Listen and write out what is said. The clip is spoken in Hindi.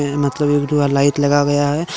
लाइट लगा गया है।